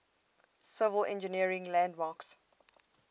civil engineering landmarks